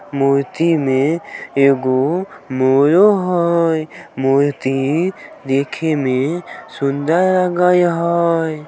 मूर्ति में एगो मोरो होय मूर्ति देखे में सुंदर लगय हय।